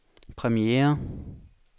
premiere